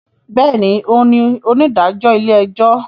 Bẹẹni, òún ní onídàájọ ilé-ẹjọ